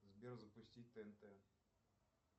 сбер запустить тнт